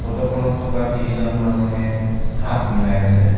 Photo খনত থকা তিনিজন মানুহে হাত মিলাই আছে।